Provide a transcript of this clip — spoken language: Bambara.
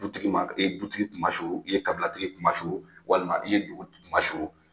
Dutigi ma, i ye dutigi kunma suru, i ye kabilatigi kunma suru walima i ye dugutigi kunma suru.